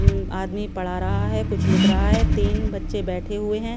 हम्म आदमी पढ़ा रहा हैं कुछ लिख रहा हैं तीन बच्चे बैठे हुए हैं।